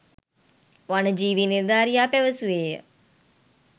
වන ජීවී නිලධාරියා පැවසුවේය.